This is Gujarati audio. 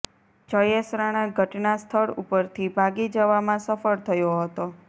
જયેશ રાણા ઘટના સ્થળ ઉપરથી ભાગી જવામાં સફળ થયો હતો